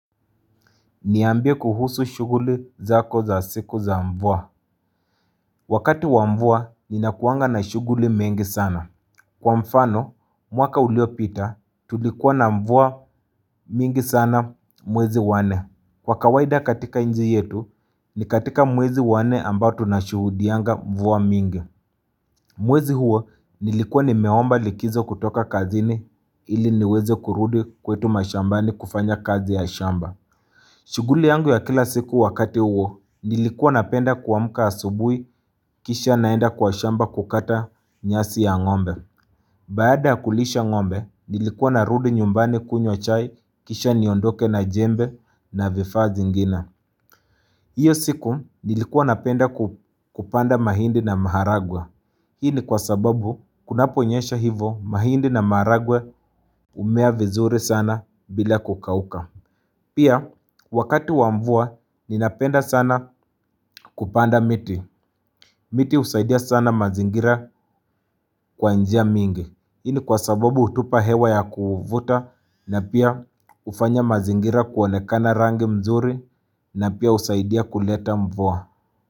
Niambia kuhusu shughuli zako za siku za mvua Wakati wa mvua ninakuanga na shughuli mengi sana Kwa mfano mwaka uliopita tulikuwa na mvua mingi sana mwezi wa nne Kwa kawaida katika nchi yetu ni katika mwezi wa nne ambao tunashuhudianga mvua mingi Mwezi huo nilikua nimeomba likizo kutoka kazini ili niweze kurudi kwetu mashambani kufanya kazi ya shamba shughuli yangu ya kila siku wakati huo, nilikuwa napenda kuamka asubuhi kisha naenda kwa shamba kukata nyasi ya ngombe. Baada ya kulisha ngombe, nilikuwa narudi nyumbani kunywa chai kisha niondoke na jembe na vifaa zingine Iyo siku nilikuwa napenda kupanda mahindi na maharagwe. Hii ni kwa sababu, kunaponyesha hivo mahindi na maharagwe humea vizuri sana bila kukauka. Pia wakati wa mvua ninapenda sana kupanda miti, miti husaidia sana mazingira kwa njia mingi, hii ni kwa sababu hutupa hewa ya kuvuta na pia hufanya mazingira kuonekana rangi mzuri na pia husaidia kuleta mvua.